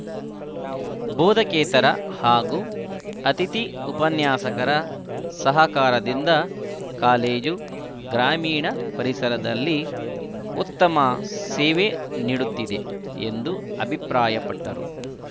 ಬೋಧಕೇತರ ಹಾಗೂ ಅತಿಥಿ ಉಪನ್ಯಾಸಕರ ಸಹಕಾರದಿಂದ ಕಾಲೇಜು ಗ್ರಾಮೀಣ ಪರಿಸರದಲ್ಲಿ ಉತ್ತಮ ಸೇವೆ ನೀಡುತ್ತಿದೆ ಎಂದು ಅಭಿಪ್ರಾಯಪಟ್ಟರು